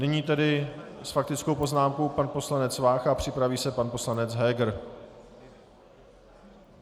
Nyní tedy s faktickou poznámkou pan poslanec Vácha a připraví se pan poslanec Heger.